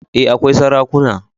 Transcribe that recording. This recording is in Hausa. E, akwai sarakuna.